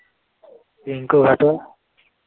ৰিংকু ঘাটো